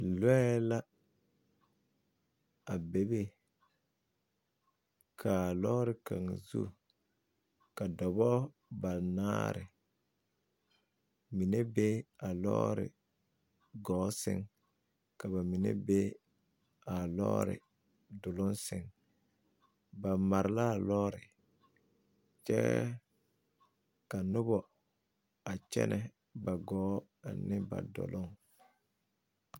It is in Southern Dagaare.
Lɔɛ la a bebe ka a lɔɔre kaŋa zu ka dɔbɔ banaare mine be a lɔɔre ɡɔɔ sɛŋ ka ba mine be a lɔɔre doloŋ sɛŋ ba mare la a lɔɔre kyɛ ka noba a kyɛnɛ ba ɡɔɔ ane ba doloŋ.